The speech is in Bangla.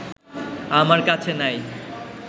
আমার কাছে নাই